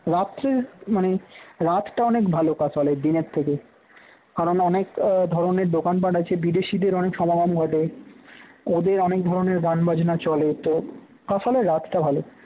রাত্রে মানে রাতটা অনেক ভাল কাঁশালের দিনের থেকে৷ কারণ অনেক ধরনের আহ দোকানপাট আছে বিদেশিদের অনেক সমাগম ঘটে ওদের অনেক ধরনের গানবাজনা চলে তো কাঁশালের রাতটা ভাল